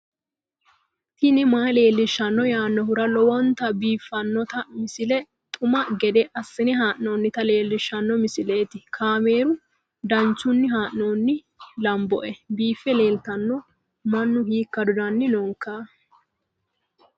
tini maa leelishshanno yaannohura lowonta biiffanota misile xuma gede assine haa'noonnita leellishshanno misileeti kaameru danchunni haa'noonni lamboe biiffe leeeltanno mannu hiikka dodanni nooikka